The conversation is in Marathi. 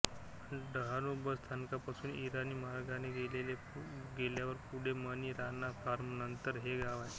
डहाणू बस स्थानकापासून ईराणी मार्गाने गेल्यावर पुढे मणी राणा फार्म नंतर हे गाव लागते